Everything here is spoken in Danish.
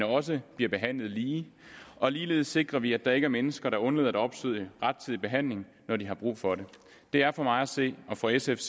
også bliver behandlet lige og ligeledes sikrer vi at der ikke er mennesker der undlader at opsøge rettidig behandling når de har brug for det det er for mig at se og for sf